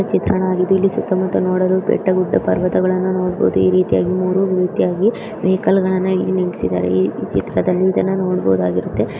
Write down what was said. ಚಿತ್ರಣವಾಗಿದೆ. ಇಲ್ಲಿ ಸುತ್ತ ಮುತ್ತ ನೋಡಲು ಬೆಟ್ಟ ಗುಡ್ಡ ಪರ್ವತಗಳನ್ನು ನೋಡಬಹುದು. ಈ ರೀತಿಯಾಗಿ ಮೂರು ರೀತಿಯಾಗಿ ವೆಹಿಕಲ್ಗಳನ್ನ ಇಲ್ಲಿ ನಿಲ್ಲಿಸಿದ್ದಾರೆ ಈ ಚಿತ್ರದಲ್ಲಿ ಇದನ್ನ ನೋಡಬಹುದಾಗುತ್ತೆ.